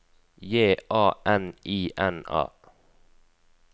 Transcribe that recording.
J A N I N A